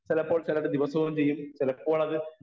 speaker 1 ചിലപ്പോൾ ചിലര് ദിവസവും ചെയ്യും ചിലപ്പോളത്